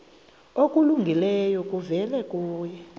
okulungileyo kuvela kuye